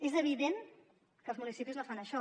és evident que els municipis no fan això